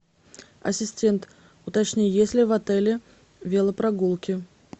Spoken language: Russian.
ассистент уточни есть ли в отеле велопрогулки